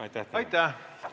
Aitäh!